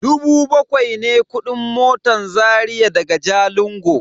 Dubu bakwai ne kudin motan Zaria daga Jalingo.